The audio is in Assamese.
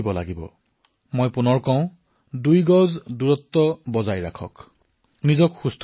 আৰু মই পুনৰবাৰ কম দুই গজ দূৰত্ব বৰ্তাই ৰাখক নিজকে সুস্থ কৰি ৰাখক